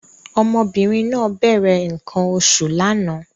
Ọmọbìnrin náà bẹ̀rẹ̀ nǹkan oṣù lánàá